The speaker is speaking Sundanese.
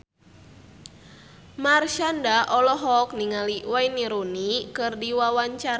Marshanda olohok ningali Wayne Rooney keur diwawancara